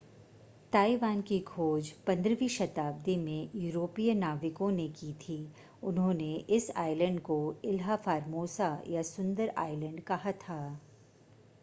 Taiwan की खोज 15वीं शताब्दी में यूरोपीय नाविकों ने की थी उन्होंने इस आइलैंड को इल्हा फ़ॉर्मोसा या सुंदर आइलैंड कहा था